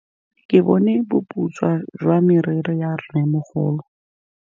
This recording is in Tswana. Ke bone boputswa jwa meriri ya rrêmogolo.